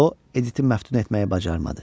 O, Editin məftun etməyi bacarmadı.